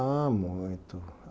Ah, muito.